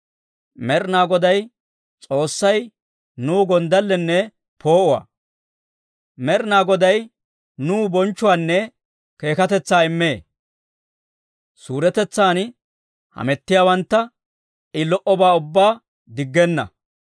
Med'inaa Goday S'oossay nuw gonddallenne poo"uwaa; Med'inaa Goday nuw bonchchuwaanne keekkatetsaa immee. Suuretetsan hamettiyaawantta I lo"obaa ubbaa diggenna.